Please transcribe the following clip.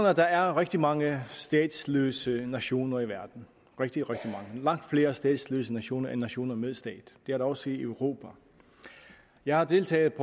at der er rigtig mange statsløse nationer i verden rigtig rigtig er langt flere statsløse nationer end nationer med stat det er der også i europa jeg har deltaget